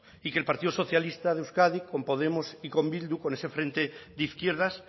y que el partido socialista de euskadi con podemos y con bildu con ese frente de izquierdas